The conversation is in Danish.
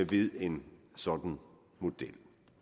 ved en sådan model